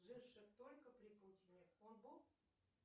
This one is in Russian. живших только при путине он бог